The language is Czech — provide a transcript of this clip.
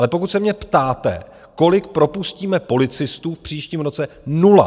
Ale pokud se mě ptáte, kolik propustíme policistů v příštím roce - nula.